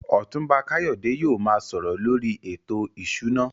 Otunba Kayode yóò máa sọ̀rọ̀ lórí ètò ìṣúná.